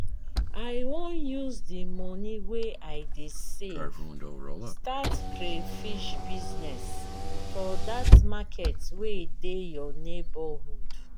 i wan use the money wey i dey save start crayfish business for dat market wey dey your neighborhood